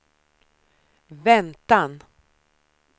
väntan